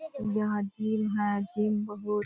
यह जिम है जिम बहुत